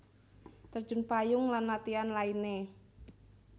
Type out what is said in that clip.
Terjun payung lan latihan lainné